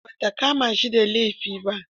Kotu ba ta kama shi da laifi ba.